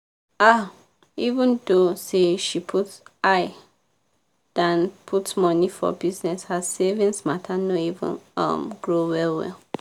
um even tho say she put eye dan put money for bizness her savings matter no even um grow well-well.